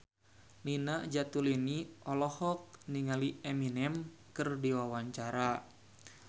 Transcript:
Nina Zatulini olohok ningali Eminem keur diwawancara